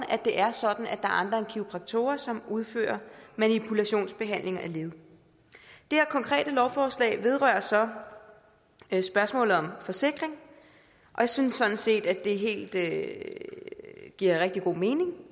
at det er sådan at er andre end kiropraktorer som udfører manipulationsbehandlinger af led det her konkrete lovforslag vedrører så spørgsmålet om forsikring og jeg synes sådan set at det giver rigtig god mening